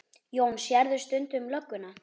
Jón: Sérðu stundum lögguna?